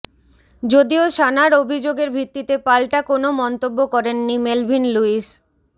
যদিও সানার অভিযোগের ভিত্তিতে পালটা কোনও মন্তব্য করেননি মেলভিন লুইস